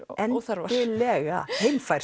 óþarfar algjörlega